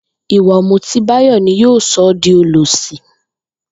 Ìwà ò̩mùtí Báyò̩ ni yóò so̩ ó di olòs̩ì